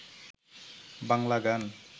বাংলা গান